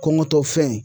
Kɔngɔtɔ fɛn